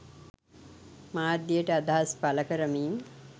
මාධ්‍යයට අදහස් පළ කරමින්